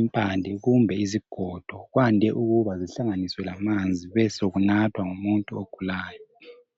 impande kumbe izigodo kwande ukuba zihlanganiswe lamanzi besekunathwa ngumuntu ogulayo